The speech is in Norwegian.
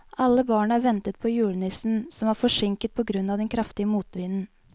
Alle barna ventet på julenissen, som var forsinket på grunn av den kraftige motvinden.